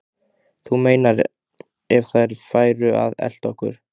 Þú meinar. ef þeir færu að elta okkur?